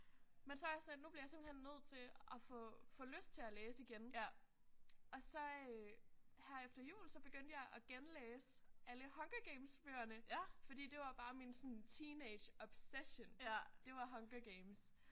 Men så er jeg sådan nu bliver jeg simpelthen nødt til at få få lyst til at læse igen og så her efter jul så begyndte jeg at genlæse alle Hunger Games bøgerne fordi det var bare min sådan teenage obsession det var Hunger Games